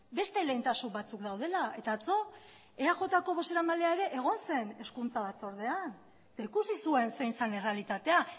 beste lehentasun batzuk daudela eta atzo eajko bozeramailea ere egon zen hezkuntza batzordean eta ikusi zuen zein zen errealitatea